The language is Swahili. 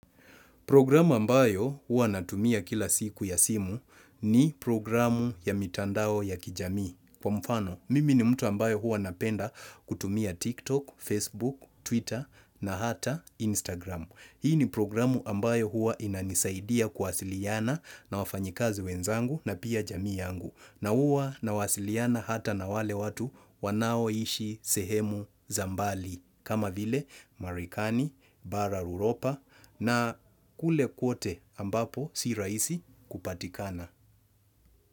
Programu ambayo huwa natumia kila siku ya simu ni programu ya mitandao ya kijamii. Kwa mfano, mimi ni mtu ambaye huwa napenda kutumia TikTok, Facebook, Twitter na hata Instagram. Hii ni programu ambayo huwa inanisaidia kuwasiliana na wafanyikazi wenzangu na pia jamii yangu. Na huwa nawasiliana hata na wale watu wanaoishi sehemu za mbali. Kama vile Marekani, bara Uropa na kule kote ambapo si raisi kupatikana.